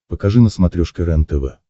покажи на смотрешке рентв